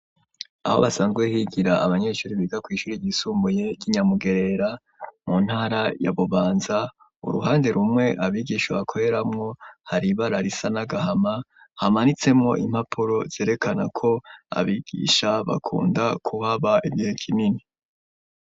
Aho basanzwe higira abanyeshure biga kwishure ry'isumbuye ry'inyamugerera mu ntara ya bubanza uruhande rumwe abigisha bakoreramwo hari ibara risa n'agahama hamanitsemwo impapuro zerekana ko abigisha bakunda kuhaba igihe kinini.